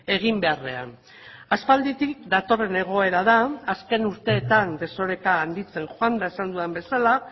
egin beharrean aspalditik datorren egoera da azken urteetan desoreka handitzen joan da esan dudan bezala